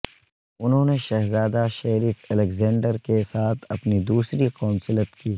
انہوں نے شہزادہ شیرس الگزینڈر کے ساتھ اپنی دوسری قونصلت کی